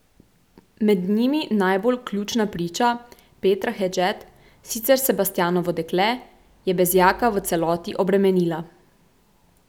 Med njimi najbolj ključna priča, Petra Hedžet, sicer Sebastijanovo dekle, je Bezjaka v celoti obremenila.